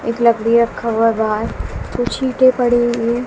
एक लकड़ी रखा हुआ है बाहर कुछ ईंटे पड़े हुए--